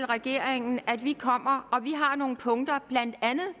regeringen at vi kommer og at vi har nogle punkter blandt andet